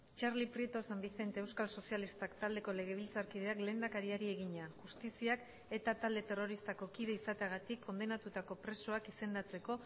txarli prieto san vicente euskal sozialistak taldeko legebiltzarkideak lehendakariari egina justiziak eta talde terroristako kide izateagatik kondenatutako presoak izendatzeko